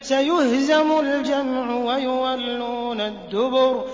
سَيُهْزَمُ الْجَمْعُ وَيُوَلُّونَ الدُّبُرَ